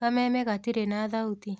Kameme gatirĩ na thauti.